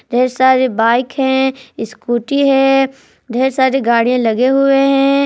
ढेर सारी बाईक है इस्कूटी है ढेर सारी गाडियाँ लगे हुए है।